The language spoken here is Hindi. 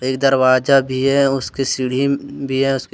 एक दरवाजा भी है उसके सीढ़ी भी है। उसके --